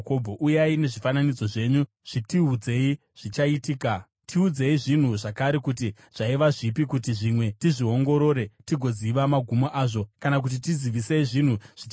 “Uyai nezvifananidzo zvenyu zvitiudze zvichaitika. Tiudzei zvinhu zvakare kuti zvaiva zvipi, kuti zvimwe tizviongorore tigoziva magumo azvo. Kana kuti tizivisei, zvinhu zvichaitika,